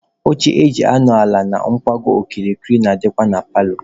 Oche eji anọ ala na ngwago okirikiri na-adịkwa na paalọ.